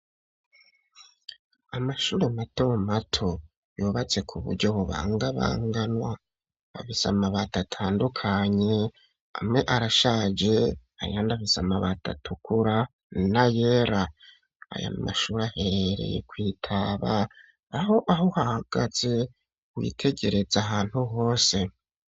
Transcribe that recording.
Amashuri mato mato ,yubatse ku buryo bubanga banganwa . Afise mabati atandukanye amwe arashaje ayandi afise amabati atukura na yera. Aya mashuri ahereye kwitaba aho aho hagaze witegereza ahantu hose.